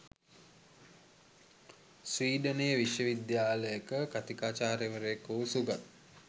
ස්‌වීඩනයේ විශ්වවිද්‍යාලයක කථිකාචාර්යවරයකු වූ සුගත්